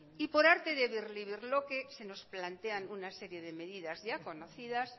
y por arte de birlibirloque se nos plantean una serie de medidas ya conocidas